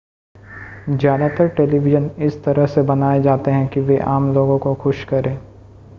ज़्यादातर टेलीविज़न इस तरह से बनाए जाते हैं कि वे आम लोगों को खुश करें